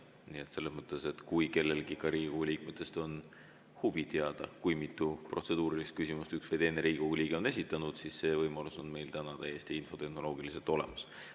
Nii et kui kellelgi ka Riigikogu liikmetest on huvi teada, kui mitu protseduurilist küsimust üks või teine Riigikogu liige on esitanud, siis see võimalus on meil infotehnoloogiliselt täiesti olemas.